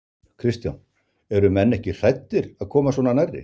Kristján: Eru menn ekki hræddir að koma svona nærri?